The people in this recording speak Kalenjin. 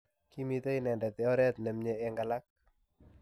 Kimitei inendet oret nemye eng alak.